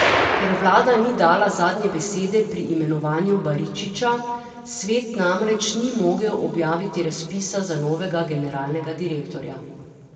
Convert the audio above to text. Ker vlada ni dala zadnje besede pri imenovanju Baričiča, svet namreč ni mogel objaviti razpisa za novega generalnega direktorja.